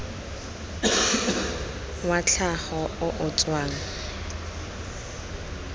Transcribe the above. wa tlhago o o tswang